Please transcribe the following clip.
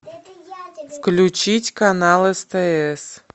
включить канал стс